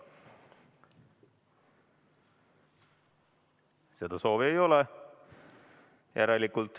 Seda soovi ei ole.